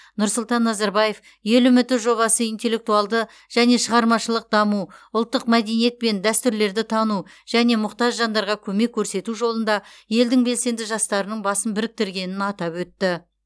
нұрсұлтан назарбаев ел үміті жобасы интеллектуалды және шығармашылық даму ұлттық мәдениет пен дәстүрлерді тану және мұқтаж жандарға көмек көрсету жолында елдің белсенді жастарының басын біріктіргенін атап өтті